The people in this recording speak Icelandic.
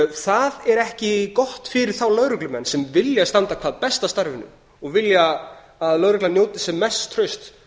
það er ekki gott fyrir þá lögreglumenn sem vilja standa hvað best að starfinu og vilja að lögreglan njóti sem mests trausts